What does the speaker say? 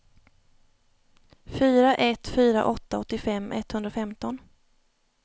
fyra ett fyra åtta åttiofem etthundrafemton